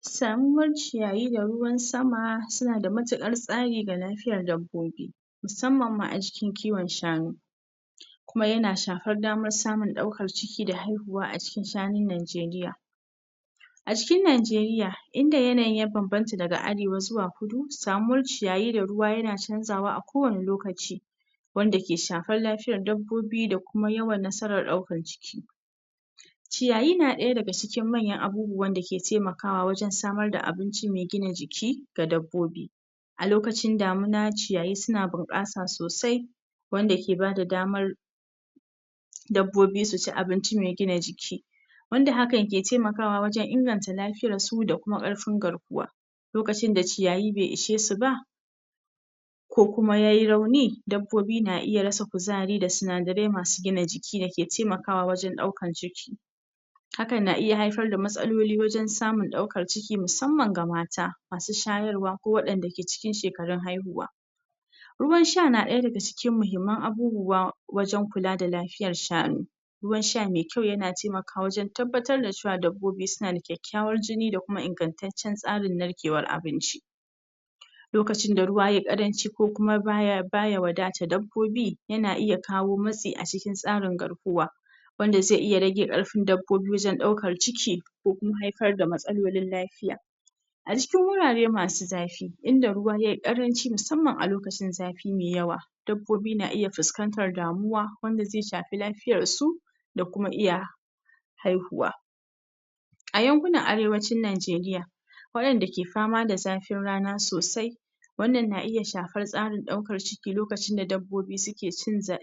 sanuwar ciyayi da ruwan sama suna da matuƙar tsari ga lafiyar dabbobi nusamman ma a cikin kiwon shanu kuma yana shafar damar samun ɗaukar ciki da haihuwa acikin shanun nigeria a cikin nigeria inda yanayi ya bambanta daga arewa zuwa kuɗu, samuwar ciyayi da ruwa yana canzawa kowanne lokaci wanda ke shafar lafiyar dabbobi da kuma yawan nasarar ɗaukar ciki ciyayi na ɗaya daga cikin manyan abubuwan dake ke taimakawa wajen samar da abinci mai gina jiki ga dabbobi a lokacin damuna ciyayi suna bunƙasa ne sosai wanda ke bada damar dabbobi su ci abinci mai gina jiki wanda hakan ke taimakawa wajen inganta lafiyar su da kuma ƙarfin garkuwa lokacin da ciyayi bai ishesu ba ko kuma yayi rauni dabobi na iya rasa kuzari da sunadarai masu gina jiki da ke temakawa wajen daukan ciki haka na iya haifar da matsaloli wajen samun daukan ciki musaman ga mata masu shayarwa ko wadan da suke cikin shekarun haiyuwa ruwan sha na daya daga cikin mahimman abubuwa wajen kula da lafiyan sha'ani ruwan sha me kyau yana temakawa wajen tabbatar da cewa dabobi suna da ƙekewar jini dakuma ingartacen tsarin narkewa abinci lokacin da ruwa yayi karanci ko kuma baya baya wadata dabobi yana iya kawo matsi a cikin tsarin garkuwa wanda zai iya rage karfin dabobi wajen daukar ciki ko kuma haifar da matsalolin lafiya a cikin wurare masu zafi inda ruwa yayi karanci musaman a lokacin zafi mai yawa dabobi na iya fuskantar da muwa wanda zai shafi lafiyar su da kuma iya haihuwa a yankuna arewacin najeriya wadanda ke fama da zafin rana sosai wanan na iya shafar tsarin daukar ciki lokacin da dabobi suke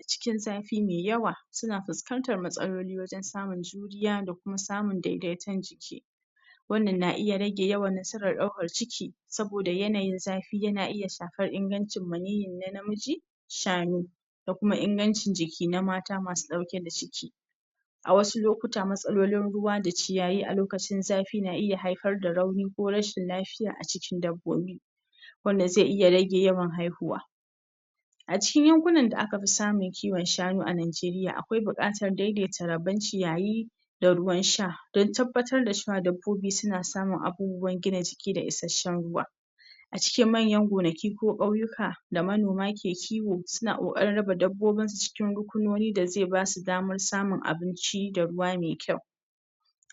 cikin zafi mai yawa suna fuskantar matsaloli wajen samun juriya da kuma samun daidaiton jiki wannan na iya rage yawar nasaran daukan ciki saboda yanayin zafi yana iya shafar ingancin maniyin na miji shanu da kuma ingancin jiki na mata masu dauke da jiki a wasu lokuta matsalolin ruwa da ciyayi a lokacin zafi na iya haifar da rauni ko rashin lfy a cikin dabobi wanda zai iya rage yawan haihuwa a cikin yankuna da aka fi samu kiwo shanu a najeriya akwai bukatar daidaita rabon ciyayi da ruwan sha don tabatar da cewan dabobi suna samun abubuwan gina jiki da isashen ruwa a cikin manyan gonaki ko ƙauyika da manoma ke kiwo suna kokarin raba dabobin su cikik rukunoni da zai basu daman samun abinci da ruwa mai kyau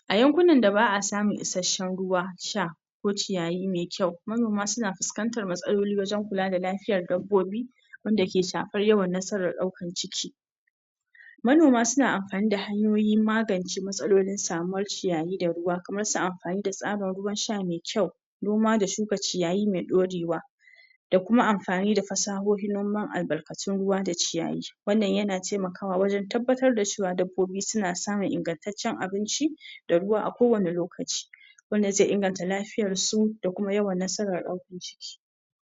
a yankunan da ba'a samun isashen ruwa sha ko ciyayi mai kyau manoma suna fuskantar matsaloli wajen kula da lafiyar dabobi wanda ke shafar yawa nasaran daukar ciki manoma suna amfani da hanyoyi magance matsaloli samuwar ciyayi da ruwa kaman su amfani da tsarin ruwan sha mai kyau noma da shuka ciyayi mai daure wa da kuma amfani da fasahohin noma albarkatun noma da ciyayi wannan yana temakawa wajen tabatar wa cewa dabobi suna samun ingantacen abinci da ruwa a kowani lokaci wanda zai ingartar lafiyar su da kuma yawar nasaran karfin jiki